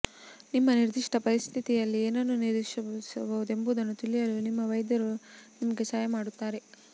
ನಿಮ್ಮ ನಿರ್ದಿಷ್ಟ ಪರಿಸ್ಥಿತಿಯಲ್ಲಿ ಏನನ್ನು ನಿರೀಕ್ಷಿಸಬಹುದು ಎಂಬುದನ್ನು ತಿಳಿಯಲು ನಿಮ್ಮ ವೈದ್ಯರು ನಿಮಗೆ ಸಹಾಯ ಮಾಡುತ್ತಾರೆ